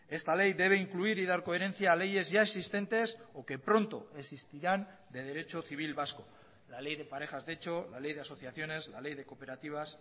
esta ley debe incluir y dar coherencia a leyes ya existentes o que pronto existirán de derecho civil vasco la ley de parejas de hecho la ley de asociaciones la ley de cooperativas